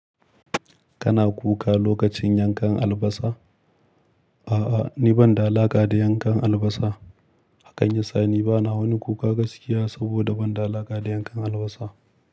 Kana kuka lokacin yankan albasa? A'a, ni ban da alaƙa da yankan albasa. Hakan yasa ni bana wani kuka gaskiya saboda ban da alaƙa da yankan albasa.